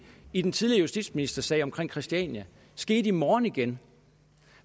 i den tidligere justitsministersag om christiania skete i morgen igen